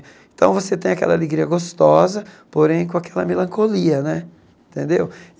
Então, você tem aquela alegria gostosa, porém, com aquela melancolia né, tendeu?